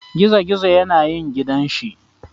Gizogizo yane yin gidan shi.